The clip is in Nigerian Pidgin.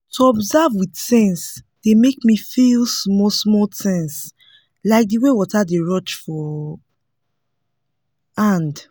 to observe with sense dey make me feel small small things like de way water dey rush for hand